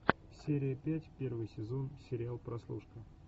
серия пять первый сезон сериал прослушка